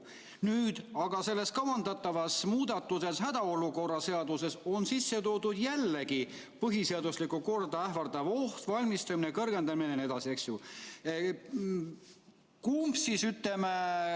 Nüüd aga selles kavandatavas hädaolukorra seaduse muudatuses on sisse toodud jällegi põhiseaduslikku korda ähvardav oht, selleks valmistumine jne.